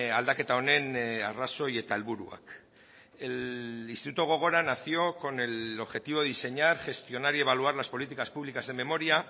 aldaketa honen arrazoi eta helburuak el instituto gogora nació con el objetivo de diseñar gestionar y evaluar las políticas públicas de memoria